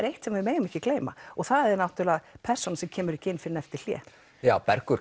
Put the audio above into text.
eitt sem við megum ekki gleyma og það er persónan sem kemur ekki inn fyrr en eftir hlé Bergur